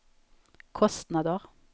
kostnader